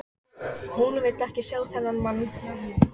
Hún vill ekki sjá þennan mann.